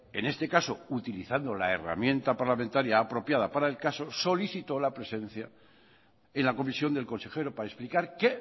en este caso utilizando la herramienta parlamentaria apropiada para el caso solicitó la presencia en la comisión del consejero para explicar qué